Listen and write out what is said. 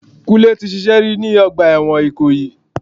Kúnlé tí ṣíṣe rí ni ọgbà ẹ̀wọ̀n ikoyi.